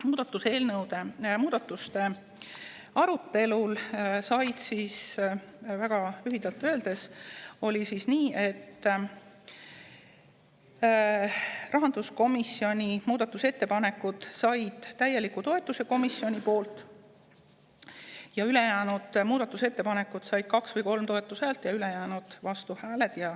Muudatusettepanekute arutelul said, kui väga lühidalt öelda, rahanduskomisjoni muudatusettepanekud komisjonis täieliku toetuse, teistele muudatusettepanekutele oli 2 või 3 toetushäält ja ülejäänute vastuhääled.